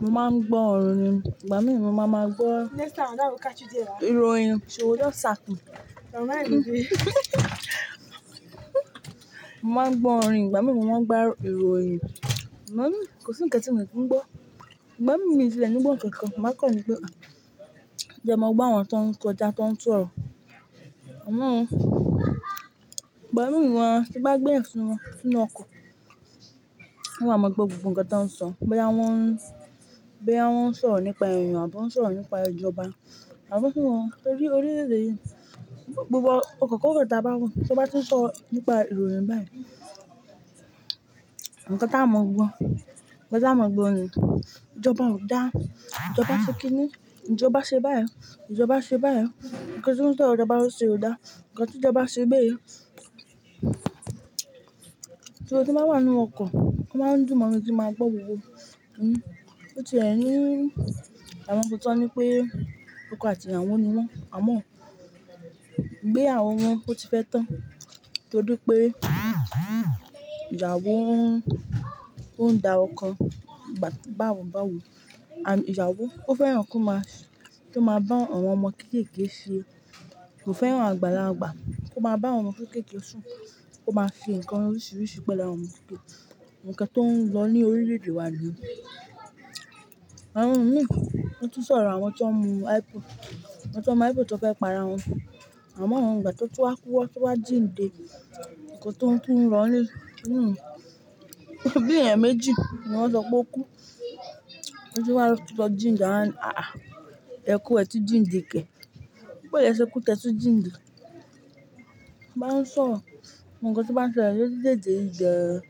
Mo máa ń gbọ́ ọ̀rọ̀ orin, ìgbà mìín mo máa máa gbọ́ ìròyìn. Mo máa ń gbọ́ orin, ìgbà mìín mo máa ń gbọ́ ìròyìn. Igba mín kò sí ǹkan tí mio kin ń gbọ́. Ìgbà mìín mi ti lè ní gbọ́ ǹkankan, màá kọ̀ ní pé à, gẹn mó gbọ́ àwọn tó ń kọjá, tó ń sọ̀rọ̀. Àmọ́ ìgbà mìí wà tí mo bá gbé ẹ̀sun sínú ọkọ̀, ún wàá máa mọ gbogbo nǹkan tó ń sọ, bóyá wọ́n ń, bóyá wọ́n ń sọ̀rọ̀ nípa èèyàn àbí wọ́n ń sọ̀rọ̀ nípa ìjọba, àbọ́ fún wọn torí orílè-èdè yìí. Gbogbo ọkọ̀ kórò taá bá wà, tí wọ́n bá ti ń sọ nípa ìròyìn báyìí, nǹkan táá mọ gbọ́, nǹkan táá mọ gbọ́ ni. Ìjọba ò dáa, ìjọba ṣe kíni, ìjọba ṣe báyi, ìjọba ṣe báyi. Nǹkan tí wọ́n ń sọ̀rọ̀, ìjọba ṣe ò dáa, nǹkan tí ìjọba ṣe bèyi. So tí n baá wà nínú ọkọ̀, o máa ń dùn mọ́ ẹni tí máa gbọ́ gbogbo. Ó ti ẹ̀ ní àwọn kan t'ọ́n ní pé, ọkọ àti ìyàwó nì wọ́n. Àmọ́ ìgbéyàwó wọn ó ti fẹ́ tán, torí pé ìyàwó ń, ó ń dá ọkọ báwo báwo. Àbí ìyàwó ó fẹ́ràn kí ó máa, kí ó máa bá àwọn ọmọ kéékèé ṣe, kò fẹ́ràn àgbàlagbà. Kí ó máa bá àwọn ọmọ kéékèé sùn, kí ó máa fi nǹkan oríṣiríṣi pẹ̀lú àwọn ọmọ kéékèé. Nǹkan tó ń lọ ní orílẹ̀-èdè wa nìyẹn. Àwọn míì gan wọ́n tún sọ̀rọ àwọn tí wọ́n mu hypo, àwọn tí wọ́n mu hypo t'ọ́n fẹ́ para wọn. Àmọ́, ìgbà t'ọ́n tún wá kú wọ́n tún wá jíǹde nǹkan t'ọ́n tún n rọ ọ́ nù un, bí èèyàn méjì ni wọ́n sọ pé ó kú. Tówá lọ jíǹde a wá ní Àhà, ẹ kú ẹ tún jíǹde kẹ̀, boó lẹ se kú tí ẹ tún jíǹde? A bá ń sọ̀rọ̀ gbogbo nǹkan tó báa ń ṣẹlẹ̀ lórílẹ̀-èdè yíì gan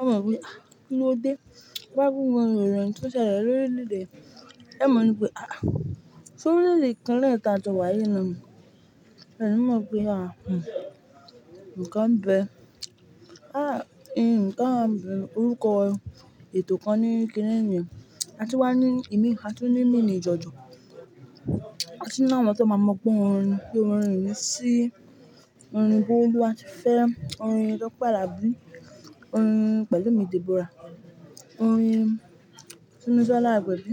ọ́ọ mọ pé ahà, kí ló dé? T'ọ́n bá n ròyin n tó ṣẹlẹ̀ lọrílẹ̀-èdè ẹẹ́ mọ ní pé Àhà, sórílẹ̀-èdè kan náà táa jọ wà yìí náà ni? Ẹ ẹ̀ níí mọ̀ pé àà nǹkan ḿ bẹẹ. À, nǹkan ń bẹ, orúkọ ètò kan ní kiní ni o, a tún wá ní kiní, a tún ní mìnì jọ̀jọ̀. A tún ní àwọn tó máa mọ̀ gbọ́ orin, pé orin yìí ṣí Orin Bólúwatifẹ́, orin Tọ́pẹ́ Àlàbí, Orin Pẹ̀lúmi Dèbórà, Orin Túmisọ́lá Agbẹ̀bí.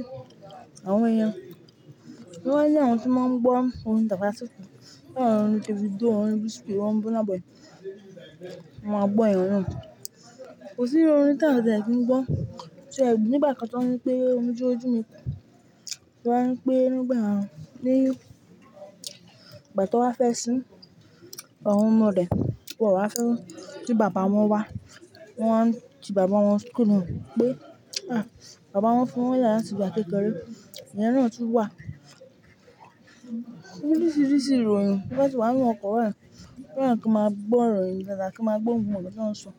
Àwọn yẹn, ó wá a ní àwọn tí máa ń gbọ́ orin Tàkasúfèé bíi àwọn orin Davido orin Wizkid, orin Burna Boy. Wọ́n máa gbọ́ ẹ̀ruj náà. Kò sí orin tá siẹ̀ kì ń gbọ́. Ti ẹ̀ nígbà kan t'ọ́ń ní pé orin ojúùjùmi, wọ́n á ní pé nígbà ní ìgbà tí wọ́n fẹ́ sín, àwọn ọmọ rẹ̀, wọ̀ wá fẹ́ kí bàbá wọn wá. Wọ́n wá ń ti bàbá wọn kúrò pé à, bàbá wọn fi wọ́n lẹ̀ láti ìgbà kékeré. Ìyẹn náà tún wà. Orísirísi ìròyìn, tẹ́ẹ bá ti wà ń nú ọkọ̀ báyìí, lẹ́yìn k'ọ́n máa gbọ́ ìròyìn dáadáa, k'ọ́n máa gbọ́ gbogbo nǹkan t'ọ́n ń sọ.